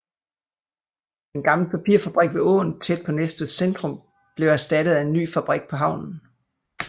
Den gamle papirfabrik ved åen tæt på Næstveds centrum blev erstattet af en ny fabrik på havnen